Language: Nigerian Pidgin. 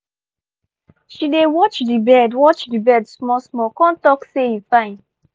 she dey watch d bird watch d bird small small con talk say e fine